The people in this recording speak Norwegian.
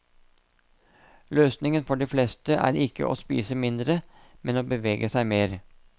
Løsningen for de fleste er ikke å spise mindre, men å bevege seg mer.